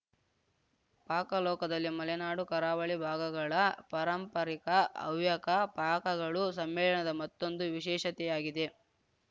ಪಾಕ ಲೋಕದಲ್ಲಿ ಮಲೆನಾಡುಕರಾವಳಿ ಭಾಗಗಳ ಪಾರಂಪರಿಕ ಹವ್ಯಕ ಪಾಕಗಳು ಸಮ್ಮೇಳನದ ಮತ್ತೊಂದು ವಿಶೇಷತೆಯಾಗಿದೆ